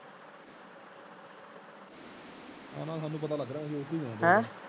ਐਨਾ ਸਾਨੂ ਪਤਾ ਲੱਗ ਰਿਹਾ ਅਸੀਂ ਓਹਦੇ ਤੇ ਹੀ ਜਾਵਣਗੇ